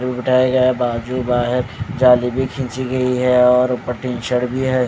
बाजू बा है जाली भी खींची गई है और ऊपर टी शर्ट भी है।